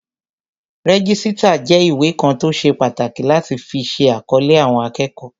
Rẹ́jísítà jẹ́ ìwé kan tó ṣe pàtàkì láti fi ṣe àkọlé àwọn akẹ́kọ̀ọ́